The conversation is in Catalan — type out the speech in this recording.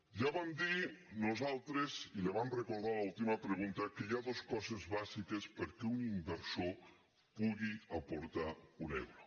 ja vam dir nosaltres i li ho vam recordar a l’última pregunta que hi ha dos coses bàsiques perquè un in·versor pugui aportar un euro